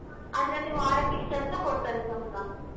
ಅದ್ರಲ್ಲಿ ವಾರಕ್ ಇಷ್ಟು ಅಂತ ಕೊಡ್ತಾರೆ ಸಂಬ್ಳ.